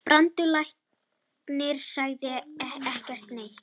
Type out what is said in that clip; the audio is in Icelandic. Brandur læknir sagði ekki neitt.